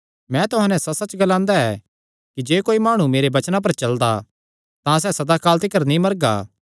मैं तुहां नैं सच्चसच्च ग्लांदा ऐ कि जे कोई माणु मेरे वचनां पर चलदा तां सैह़ सदा काल तिकर नीं मरगा